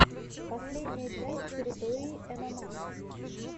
последняя часть территории мма